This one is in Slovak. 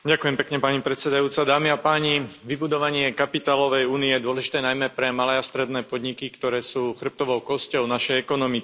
Pani predsedajúca, vybudovanie kapitálovej únie je dôležité najmä pre malé a stredné podniky, ktoré sú chrbtovou kosťou našej ekonomiky.